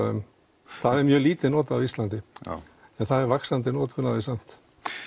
um það er mjög lítið notað á Íslandi en það er vaxandi notkun á því samt